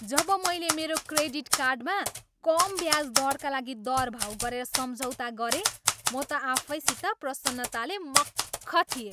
जब मैले मेरो क्रेडिट कार्डमा कम ब्याज दरका लागि दरभाउ गरेर सम्झौता गरेँ, म त आफैसित प्रसन्नताले मख्ख थिएँ।